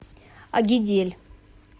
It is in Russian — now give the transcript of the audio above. агидель